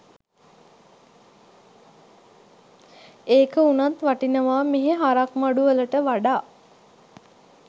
ඒක උනත් වටිනවා මෙහෙ හරක් මඩු වලට වඩා